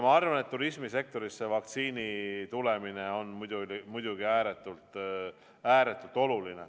Ma arvan, et turismisektorile on vaktsiini tulemine muidugi ääretult-ääretult oluline.